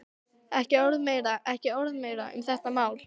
Ekki orð meira, ekki orð meira um þetta mál.